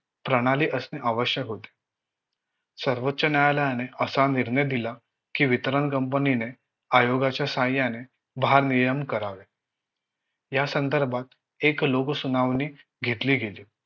प्रणाली असणे आवश्यक होते सर्वोच्च न्यायालयाने असा निर्णय दिला कि वितरण company ने आयोगाच्या साहाय्याने भारनियम करावे यासंदर्भात एक लोकसुनावणी घेतली गेली